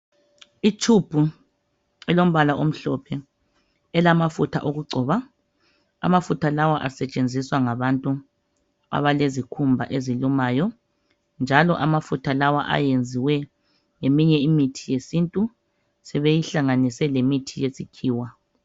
Itshubhu elombala omhlophe elamafutha okugcoba. Amafutha lawa asetshenziswa ngabantu abalezikhumba ezilumayo njalo amafutha lawa ayenziwe ngeminye imithi yesintu sebeyihlanganise lemithi yesikhiwa.